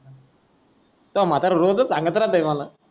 तो म्हातारा रोजच सांगत राहतयं मला